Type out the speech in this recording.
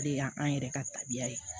O de y'an yɛrɛ ka tabiya ye